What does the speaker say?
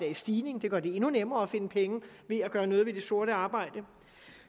i stigning det gør det endnu nemmere at finde penge ved at gøre noget ved det sorte arbejde